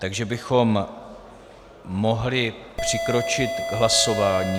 Takže bychom mohli přikročit k hlasování.